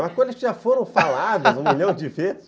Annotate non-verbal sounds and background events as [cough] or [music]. Algumas coisas que já foram faladas [laughs] um milhão de vezes [laughs]